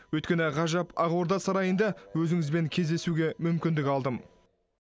өйткені ғажап ақорда сарайында өзіңізбен кездесуге мүмкіндік алдым